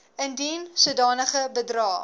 indien sodanige bedrae